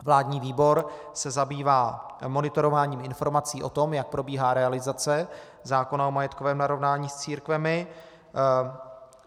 Vládní výbor se zabývá monitorováním informací o tom, jak probíhá realizace zákona o majetkovém narovnání s církvemi.